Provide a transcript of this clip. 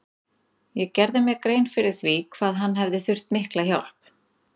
Ég gerði mér grein fyrir því hvað hann hefði þurft mikla hjálp.